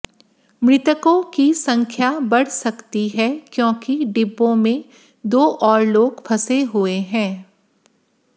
मृतकों की संख्या बढ़ सकती है क्योंकि डिब्बों में दो और लोग फंसे हुए हैं